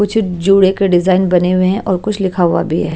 कुछ जुड़े के डिजाइन बने हुए हैं और कुछ लिखा हुआ भी है।